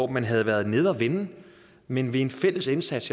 man havde været nede at vende men ved en fælles indsats